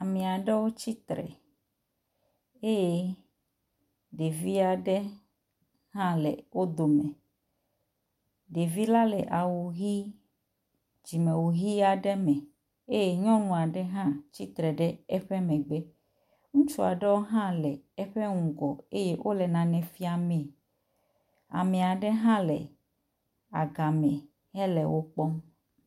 amiaɖewo tsitre eye ɖeviaɖewo le wó dome ɖevi la le awu hi dzime wu hi aɖe me eye nyɔŋua ɖe hatsitre ɖe eƒe megbe ŋutsua ɖewo hã le eƒe ŋgɔ eye wóle nane fiamee amaɖe hã le agame hele wokpɔm